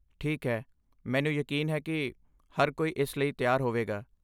ਠੀਕ ਹੈ, ਮੈਨੂੰ ਯਕੀਨ ਹੈ ਕਿ ਹਰ ਕੋਈ ਇਸ ਲਈ ਤਿਆਰ ਹੋਵੇਗਾ।